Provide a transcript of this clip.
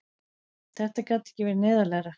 Þetta gat ekki verið neyðarlegra!